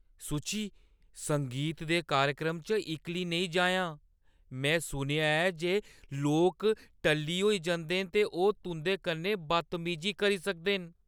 सुची। संगीत दे कार्यक्रम च इक्कली नेईं जाएआं। में सुनेआ ऐ जे लोक टल्ली होई जंदे न ते ओह् तुंʼदे कन्नै बदतमीजी करी सकदे न।